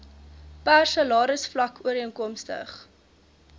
per salarisvlak ooreenkomstig